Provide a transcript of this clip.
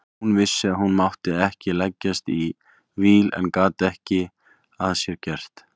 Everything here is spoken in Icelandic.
Hún vissi að hún mátti ekki leggjast í víl en gat ekki að sér gert.